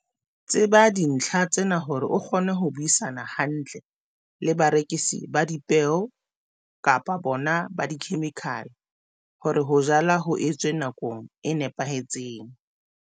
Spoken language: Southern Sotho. Tseba dintlha tsena hore o kgone ho buisana hantle le barekisi ba dipeo kapa bona ba dikhemikhale hore ho jala ho etswe nakong e nepahetseng.